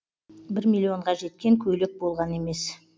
бір миллионға жеткен көйлек болған емес